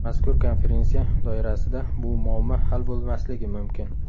Mazkur konferensiya doirasida bu muammo hal bo‘lmasligi mumkin.